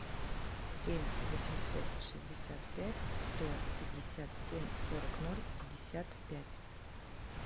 семь восемьсот шестьдесят пять сто пятьдесят семь сорок ноль пятьдесят пять